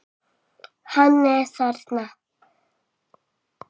Hann er þarna.